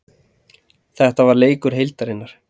Þetta er leikur heildarinnar.